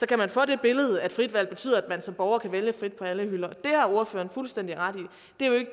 kan få det billede at frit valg betyder at man som borger kan vælge frit på alle hylder og ordføreren har fuldstændig ret